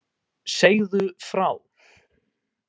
Segðu frá.